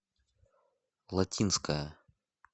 латинская